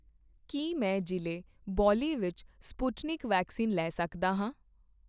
ਕੀ ਮੈਂ ਜ਼ਿਲ੍ਹੇ ਬੋਲੀ ਵਿੱਚ ਸਪੁਟਨਿਕ ਵੈਕਸੀਨ ਲੈ ਸਕਦਾ ਹਾਂ?